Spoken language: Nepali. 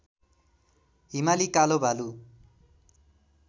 हिमाली कालो भालु